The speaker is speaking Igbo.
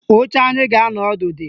Oche anyị ga-anọ ọdụ dị